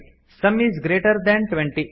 some is greater than twenty